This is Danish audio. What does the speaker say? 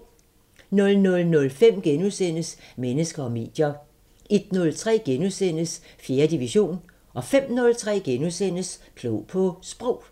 00:05: Mennesker og medier * 01:03: 4. division * 05:03: Klog på Sprog *